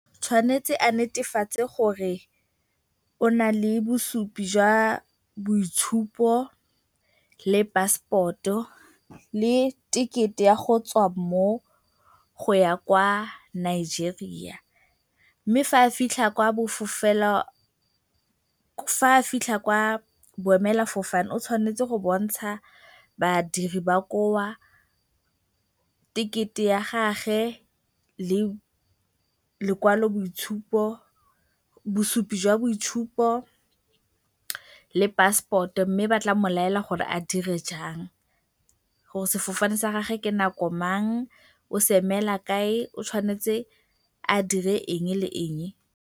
O tshwanetse a netefatse gore o na le bosupi jwa boitshupo le passport-o le ticket-e ya go tswa mo go ya kwa Nigeria. Mme fa a fitlha kwa boemelafofane o tshwanetse go bontsha badiri ba koo tekete ya gagwe le lokwaloboitshupo, bosupi jwa boitshupo le passport-o mme ba tla mo laela gore a dire jang gore sefofane sa gagwe ke nako mang, o se emela kae, o tshwanetse a dire eng le eng.